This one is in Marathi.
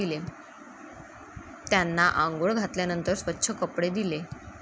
त्यांना आंघोळ घातल्यानंतर स्वच्छ कपडे दिले.